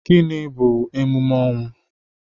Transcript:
Gịnị bu emume ọnwụ?